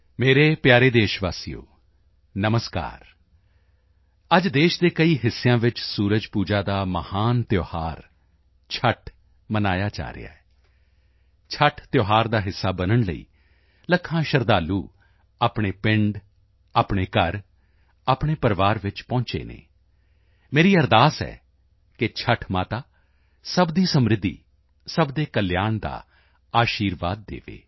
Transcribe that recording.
ਮੇਰੇ ਪਿਆਰੇ ਦੇਸ਼ਵਾਸੀਓ ਨਮਸਕਾਰ ਅੱਜ ਦੇਸ਼ ਦੇ ਕਈ ਹਿੱਸਿਆਂ ਵਿੱਚ ਸੂਰਜ ਪੂਜਾ ਦਾ ਮਹਾਨ ਤਿਉਹਾਰ ਛੱਠ ਮਨਾਇਆ ਜਾ ਰਿਹਾ ਹੈ ਛੱਠ ਤਿਉਹਾਰ ਦਾ ਹਿੱਸਾ ਬਣਨ ਲਈ ਲੱਖਾਂ ਸ਼ਰਧਾਲੂ ਆਪਣੇ ਪਿੰਡ ਆਪਣੇ ਘਰ ਆਪਣੇ ਪਰਿਵਾਰ ਵਿੱਚ ਪਹੁੰਚੇ ਹਨ ਮੇਰੀ ਅਰਦਾਸ ਹੈ ਕਿ ਛੱਠ ਮਾਤਾ ਸਭ ਦੀ ਸਮ੍ਰਿੱਧੀ ਸਭ ਦੇ ਕਲਿਆਣ ਦਾ ਅਸ਼ੀਰਵਾਦ ਦੇਵੇ